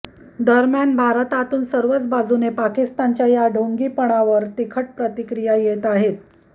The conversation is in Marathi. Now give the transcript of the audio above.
दरम्यान भारतातून सर्वच बाजूने पाकिस्तानच्या या ढोंगी पनावर तिखट प्रतिक्रिया येत आहेत